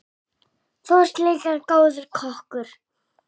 Þú varst líka góður kokkur.